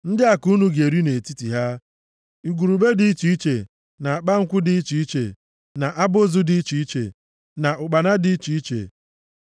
ndị a ka unu ga-eri nʼetiti ha, igurube dị iche iche, na akpankwụ dị iche iche, na abụzụ dị iche iche, na ụkpana dị iche iche.